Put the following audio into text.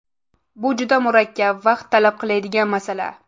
Bu juda murakkab, vaqt talab qiladigan masala.